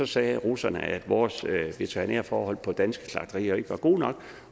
sagde russerne at vores veterinære forhold på danske slagterier ikke var gode nok